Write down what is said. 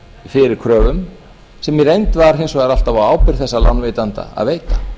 fyrir kröfum sem í reynd var hins vegar alltaf á ábyrgð þessa lánveitenda að veita